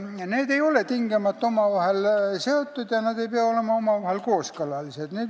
Need kodakondsused ei ole tingimata omavahel seotud ja nad ei pea olema kooskõlalised.